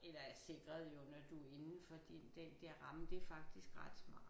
Eller er sikret jo når du er indenfor de den der ramme det er faktisk ret smart